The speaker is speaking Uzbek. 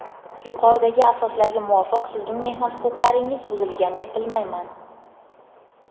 Yuqoridagi asoslarga muvofiq sizning mehnat huquqlaringiz buzilgan deb bilayman.